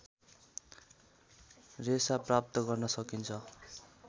रेशा प्राप्त गर्न सकिन्छ